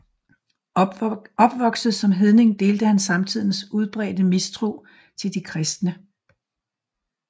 Opvokset som hedning delte han samtidens udbredte mistro til de kristne